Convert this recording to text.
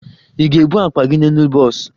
Ị ga-ebu akpa gị n'elu bọs?